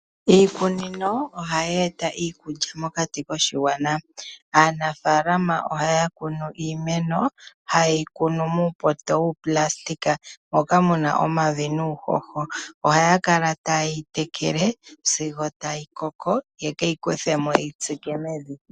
Iikunino ohayi eta iikulya mokati koshigwana. Aanfalama ohaya kunu iimeno, ha yeyi kunu muupoto wuunayilona, moka muna omavi nuuhoho, ohaya kala ta yeyi tekele sigo ya koko, yeyi kuthemo, ye keyi tsike mevi.